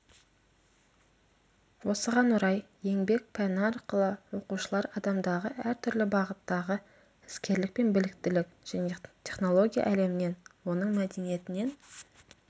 осыған орай еңбек пәні арқылы оқушылар адамдағы әртүрлі бағыттағы іскерлік пен біліктілік және технология әлемінен оның мәдениетінен